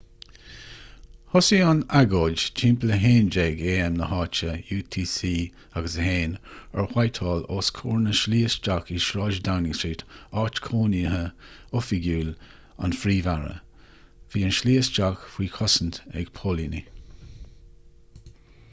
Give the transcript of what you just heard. thosaigh an agóid timpeall 11:00 am na háite utc+1 ar whitehall os comhair na slí isteach i sráid downing street áit chónaithe oifigiúil an phríomh-aire. bhí an tslí isteach faoi chosaint ag póilíní